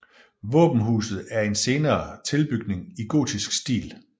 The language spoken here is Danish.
Våbenhuset er en senere tilbygning i gotisk stil